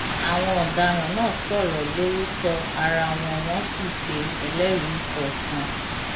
àwọn ọdaràn náà sọrọ lórúkọ ara wọn wọn sì pe ẹlẹrìí kọọkan